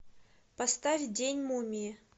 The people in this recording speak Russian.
поставь день мумии